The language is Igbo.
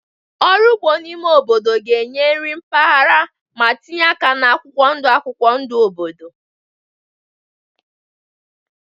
Ọrụ ugbo n'ime obodo ga-enye nri mpaghara ma tinye aka na akwụkwọ ndụ akwụkwọ ndụ obodo.